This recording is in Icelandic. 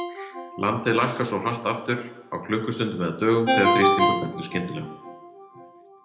Landið lækkar svo hratt aftur, á klukkustundum eða dögum, þegar þrýstingur fellur skyndilega.